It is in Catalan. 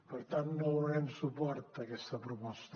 per tant no donarem suport a aquesta proposta